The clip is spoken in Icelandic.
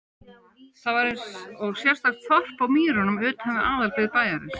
Það var einsog sérstakt þorp á mýrunum utan við aðalbyggð bæjarins.